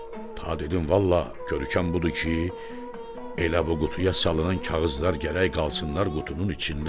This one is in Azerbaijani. Ta dedim vallah görəkən budur ki, elə bu qutuya salınan kağızlar gərək qalsınlar qutunun içində.